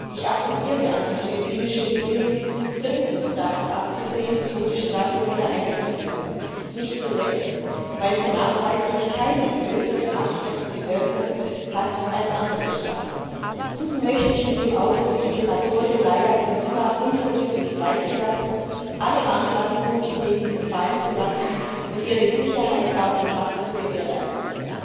Ich appelliere an die philippinische Regierung, dringend davon abzusehen, die Todesstrafe wieder einzuführen, nicht zuletzt, weil sie nachweislich keine größere abschreckende Wirkung hat als andere Strafen. Enden möchte ich mit dem Aufruf, die Senatorin Leila de Lima unverzüglich freizulassen, alle Anklagepunkte gegen sie fallen zu lassen und ihre Sicherheit auch in Haft zu gewährleisten.